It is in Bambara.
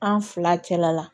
An fila kɛla